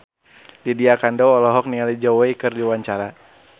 Lydia Kandou olohok ningali Zhao Wei keur diwawancara